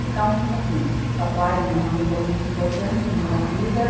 Então, assim, papai e minha mãe foram muito importantes na minha vida.